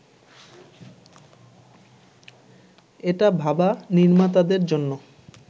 এটা ভাবা নির্মাতাদের জন্য